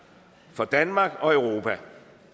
for danmark og europa